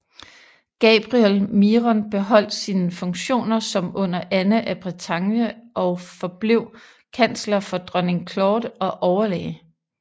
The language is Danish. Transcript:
Gabriel Miron beholdt sine funktioner som under Anne af Bretagne og forblev kansler for dronning Claude og overlæge